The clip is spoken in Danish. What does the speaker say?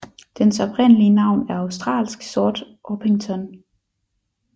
Dens oprindelige navn er australsk sort orpington